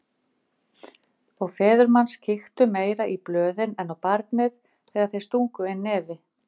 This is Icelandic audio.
Og feður manns kíktu meira í blöðin en á barnið þegar þeir stungu inn nefi.